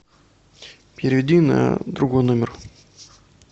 переведи на другой номер